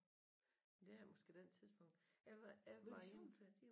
Det er måske den tidspunkt jeg var jeg var inde